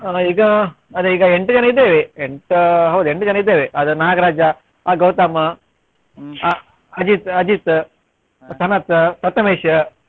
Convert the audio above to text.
ಈಗ ಅದೇ ಈಗ ಎಂಟು ಜನ ಇದ್ದೇವೆ ಎಂಟು ಹೌದು ಎಂಟು ಜನ ಇದ್ದೇವೆ ಅದು ನಾಗ್ರಾಜ, ಆ ಗೌತಮ್, ಆ ಅಜಿತ್ ಅಜಿತ್, ಸನತ್, ಪ್ರಥಮೇಶ್.